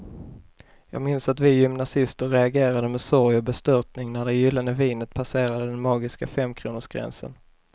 Jag minns att vi gymnasister reagerade med sorg och bestörtning när det gyllene vinet passerade den magiska femkronorsgränsen.